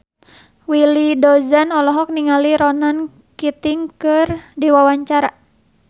Willy Dozan olohok ningali Ronan Keating keur diwawancara